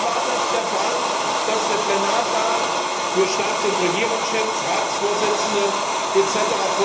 Bisher war es der Fall, dass der Plenarsaal Staats und Regierungschefs, Ratsvorsitzenden etc.